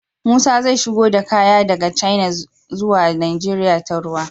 Musa zai shigo da kaya daka china zuwa nigeria ta ruwa